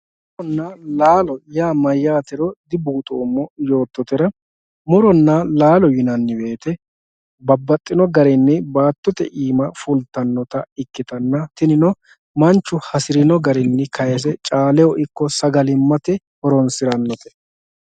nuronna laalo mayyaatero dibuuxoommo yoottotera muronna laalo yinanni woyte babbaxxino garinni baattote iima fultannota ikkitanna tinino mannu hasi'rino garinni kayiise caalehohattono sagalimmate horonsi'rannote.